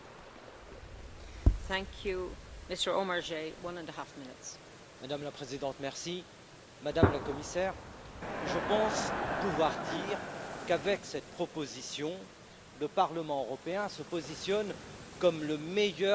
Madame la Présidente, Madame la Commissaire, je pense pouvoir dire qu'avec cette proposition, le Parlement européen se positionne comme le meilleur défenseur d'une politique de cohésion forte et ambitieuse,